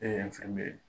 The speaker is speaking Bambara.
E ye fɛn be ye